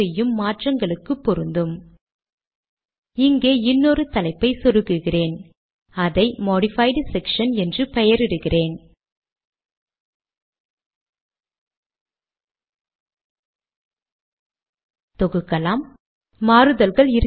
அதாவது மாதம் தேதி வருடம் இதை ஸ்லாஷ் டேட் ஸ்லாஷ் டோடே என்ற கட்டளை மூலம் பெறலாம்